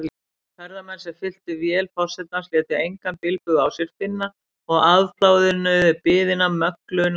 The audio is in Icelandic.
Ferðamenn, sem fylltu vél forsetans, létu engan bilbug á sér finna og afplánuðu biðina möglunarlaust.